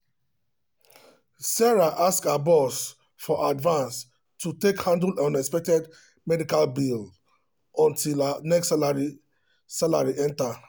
sarah ask her boss for advance to take handle unexpected medical bill until her next salary salary enter.